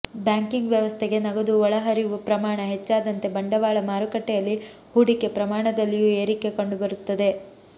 banking ವ್ಯವಸ್ಥೆಗೆ ನಗದು ಒಳಹರಿವು ಪ್ರಮಾಣ ಹೆಚ್ಚಾದಂತೆ ಬಂಡವಾಳ ಮಾರುಕಟ್ಟೆಯಲ್ಲಿ ಹೂಡಿಕೆ ಪ್ರಮಾಣದಲ್ಲಿಯೂ ಏರಿಕೆ ಕಂಡುಬರುತ್ತದೆ